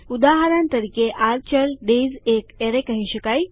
ઉદાહરણ તરીકે આ ચલ ડેયઝ એક એરેય કહી શકાય